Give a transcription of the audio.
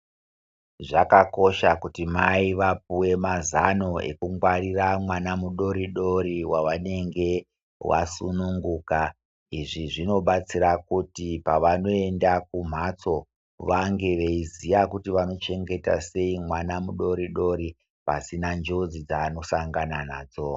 Zvakakosha kuti mai vapuwe mazano ekungwarira mwana mudoridori wavanenge vasununguka. Izvi zvinobatsira kuti pavanoenda kumhatso, vange veiziya kuti vanochengeta sei mwana mudoridori, pasina njodzi dzeanosangana nadzo.